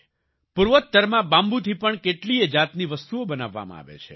પૂર્વોત્તરમાં bamboo થી પણ કેટલીયે જાતની વસ્તુઓ બનાવવામાં આવે છે